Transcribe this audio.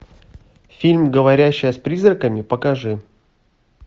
фильм говорящая с призраками покажи